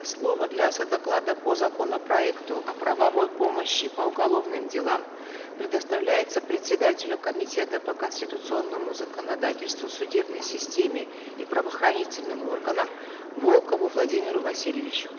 слово для содоклада по законопроекту о правовой помощи по уголовным делам предоставляется председателю комитета по конституционному законодательству судебной системе и правоохранительным органам волкову владимиру васильевичу